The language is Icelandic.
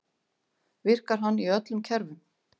Virkar hann í öllum kerfum?